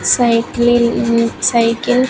Cycling um cycle.